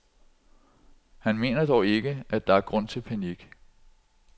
Han mener dog ikke, at der er grund til panik.